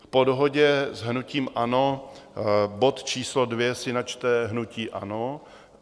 Po dohodě s hnutím ANO bod číslo 2 si načte hnutí ANO.